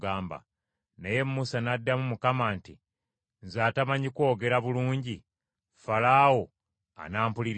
Naye Musa n’addamu Mukama nti, “Nze atamanyi kwogera bulungi, Falaawo anampuliriza atya?”